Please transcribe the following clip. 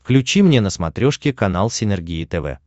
включи мне на смотрешке канал синергия тв